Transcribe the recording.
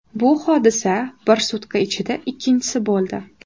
Bu hodisa bir sutka ichida ikkinchisi bo‘ldi.